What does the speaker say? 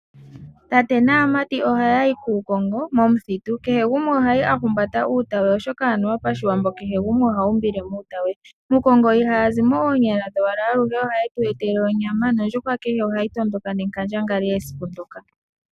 Tate naamati ohaya yi kuukongo momuthitu. Kehe gumwe oha yi a humbata uutati we oshoka anuwa pashiwambo kehe gumwe oha umbile muuta we. Muukongo ihaya zi mo oonyala dhowala, aluhe ohaye tu etele onyama nondjuhwa kehe ohayi tondoka nenkandangali esiku ndoka.